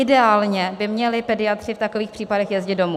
Ideálně by měli pediatři v takových případech jezdit domů.